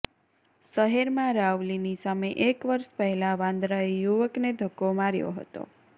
શહેરમાં રાવલીની સામે એક વર્ષ પહેલા વાંદરાએ યુવકને ધક્કો માર્યો હતો